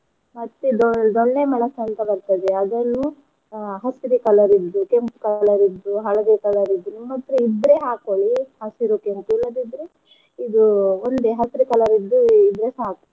ಮತ್ತೆ ದೊಣ್ಣೆ ಮೆಣಸ್ ಅಂತ್ ಬರ್ತದೆ ಅದನ್ನೂ ಅಹ್ ಹಸಿರು colour ಇದ್ದು ಕೆಂಪ್ colour ಇದ್ದು ಹಳದಿ colour ಇದ್ದು ನಿಮ್ ಹತ್ರ ಇದ್ರೆ ಹಾಕೋಳ್ಳಿ ಹಸಿರು ಕೆಂಪು ಇಲ್ಲದಿರ್ದೆ ಇದು ಒಂದೇ ಹಸಿರು colour ದ್ದು ಇದ್ರೆ ಸಾಕು.